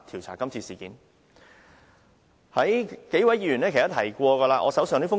相信各位議員都有我手上這封信。